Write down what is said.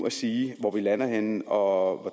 at sige hvor vi lander henne og